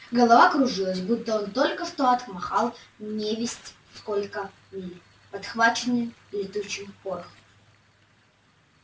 голова кружилась будто он только что отмахал невесть сколько миль подхваченный летучим порохом